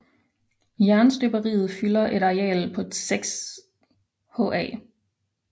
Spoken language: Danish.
Jernstøberiet fylder et areal på 6 ha